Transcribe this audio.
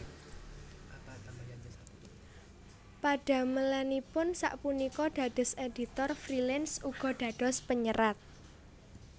Padamelanipun sak punika dados editor freelance uga dados panyerat